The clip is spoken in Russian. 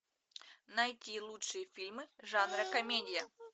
найти лучшие фильмы жанра комедия